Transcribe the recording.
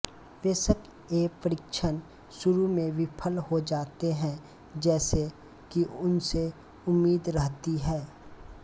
बेशक ये परीक्षण शुरू में विफल हो जाते हैं जैसे कि उनसे उम्मीद रहती है